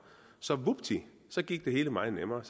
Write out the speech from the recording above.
så vupti så gik det hele meget nemmere